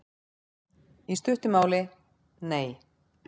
Í stuttu máli: Nei.